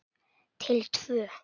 Til tvö.